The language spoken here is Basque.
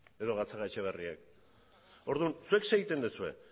edo gatzagaetxebarriak orduan zuek zer egiten duzue